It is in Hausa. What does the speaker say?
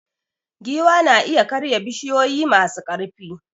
Giwa na iya karya bishiyoyi masu ƙarfi.